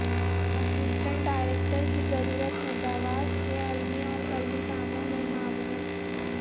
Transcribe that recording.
assistant ڈایریکٹرکی ضرورت ہےجواس کےعلمی اورقلمی کاموں میں معاونت